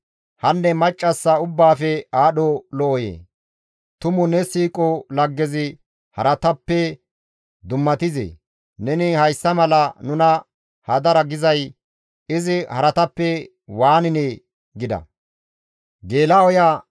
«Hanne maccassa ubbaafe aadho lo7oyee! Tumu ne siiqo laggezi haratappe dummatizee? Neni hayssa mala nuna hadara gizay izi haratappe waaninee?» gida.